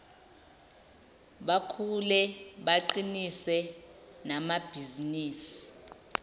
bakhule baqinise namabhizinisi